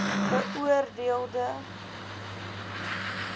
beoor deel de